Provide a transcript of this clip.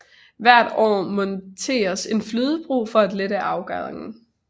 Hvert forår monteres en flydebro for at lette adgangen